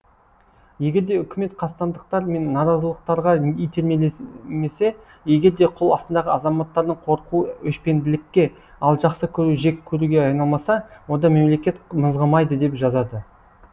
егерде үкімет қастандықтар мен наразылықтарға итермелемесе егерде қол астындағы азаматтардың қорқуы өшпенділікке ал жақсы көруі жек көруге айналмаса онда мемлекет мызғымайды деп жазады